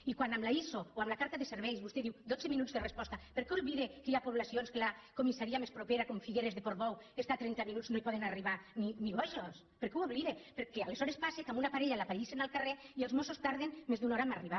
i quan amb l’iso o amb la carta de serveis vostè diu dotze minuts de resposta per què oblida que hi ha po·blacions que la comissaria més propera com figueres de portbou està a trenta minuts no hi poden arribar ni bojos per què ho oblida perquè aleshores passa que a una parella l’apallissen al carrer i els mossos tarden més d’una hora a arribar